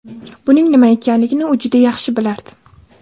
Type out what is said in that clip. Buning nima ekanligini u juda yaxshi bilardi.